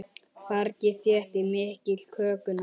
Fargið þéttir og mýkir kökuna.